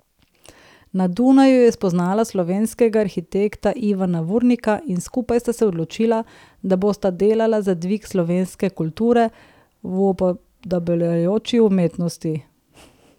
Na Dunaju je spoznala slovenskega arhitekta Ivana Vurnika in skupaj sta se odločila, da bosta delala za dvig slovenske kulture v upodabljajoči umetnosti.